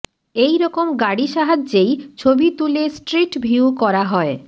এইরকম গাড়ি সাহায্যেই ছবি তুলে স্ট্রিট ভিউ করা হয়